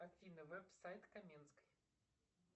афина веб сайт каменской